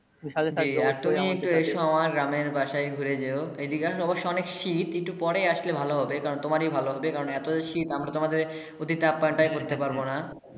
সাথে থাকলো জি আর তুমি একটু এসো আমার গ্রামের বাসায় ঘুরে যেও। এইদিকে অবশ্যই অনেক শীত। একটু পরে আসলে ভালো হবে। কারণ, তোমারেই ভালো হবে। কারণ, এতো শীত আমরা তোমাদের অতিথি আপ্যায়ণ করতে পারবো না।